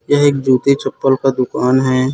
यह एक जूते चप्पल का दुकान है।